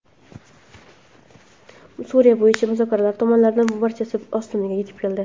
Suriya bo‘yicha muzokaralar tomonlarining barchasi Ostonaga yetib keldi.